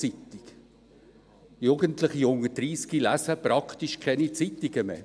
Jugendliche unter 30 lesen praktisch keine Zeitungen mehr.